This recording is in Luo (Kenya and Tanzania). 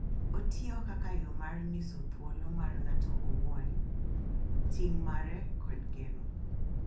Otiyo kaka yo mar nyiso thuolo mar ng'ato owuon, ting' mare, kod geno,